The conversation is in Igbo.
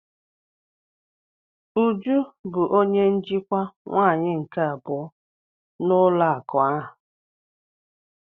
Uju bụ onye njikwa nwaanyị nke abụọ n'ụlọ akụ ahụ.